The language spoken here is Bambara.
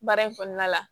Baara in kɔnɔna la